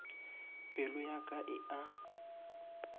pelo ya ka e a